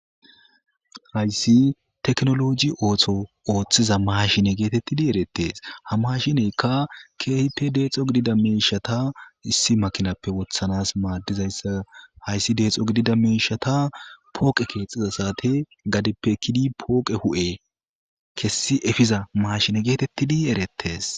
hayssi teknoloji ooththo ooththiza maashine geetettidi eretes hamashineykka keehipe deexo gidida miishata issi makinappe wothanas maaddizayssa hayssi deexo gidida miishata pooqe keexxiza saate gadeppe ekkidi pooqe hu'e kessi efiza maashine geetettidi erettes.